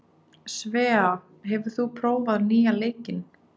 Svea, hefur þú prófað nýja leikinn?